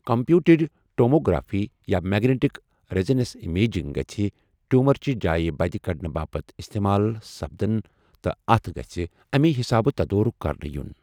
Computed tomography یا magnetic resonance imaging گژھِ ٹِیوٗمرچہِ جایہ بدِ كڈنہٕ باپت استعمال سپدٕنہِ تہٕ اتھ گژھِ امی حِسابہٕ تدورٗك كرنہٕ یٗن ۔